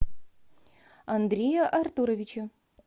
андрея артуровича